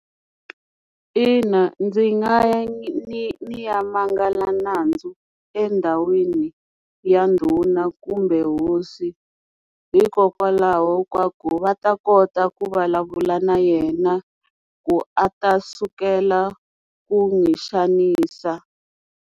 Ina ndzi nga yi ni ya mangala nandzu endhawini ya ndhuna kumbe hosi hikokwalaho ka ku va ta kota ku vulavula na yena ku a ta sukela ku n'wi xanisa.